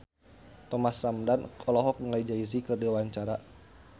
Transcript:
Thomas Ramdhan olohok ningali Jay Z keur diwawancara